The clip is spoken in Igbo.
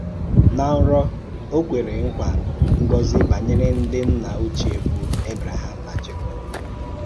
Nà nrọ̀, Ó kwèrè nkwa ngọ́zì nyè ǹdí nnà ọ̀chíè bụ́ Ábráhàm nà Jèkób.